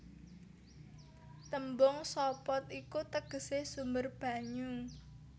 Tembung sopot iku tegesé sumber banyu